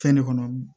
Fɛn ne kɔnɔ